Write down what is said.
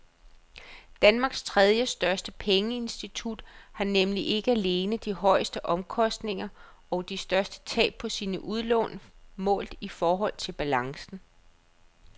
Danmarks tredjestørste pengeinstitut har nemlig ikke alene de højeste omkostninger og de største tab på sine udlån målt i forhold til balancen.